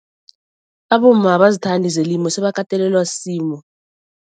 Abomma abazithandi zelimo sebakatelelwa sisimo.